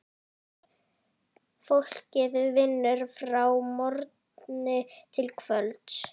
Fólkið vinnur frá morgni til kvölds.